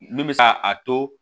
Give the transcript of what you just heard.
Min bɛ se ka a to